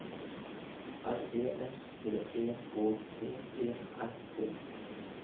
R E S P E K T E R T